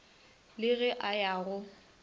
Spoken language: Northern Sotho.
le ge a ya go